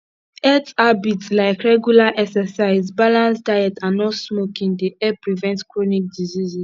health habits like regular exercise balanced diet and not smoking dey help prevent chronic diseases